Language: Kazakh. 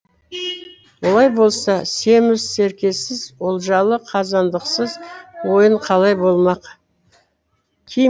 олай болса семіз серкесіз олжалы қазандықсыз ойын қалай болмақ